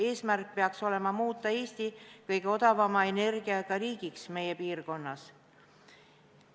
Eesmärk peaks olema muuta Eesti kõige odavama energiaga riigiks meie piirkonnas.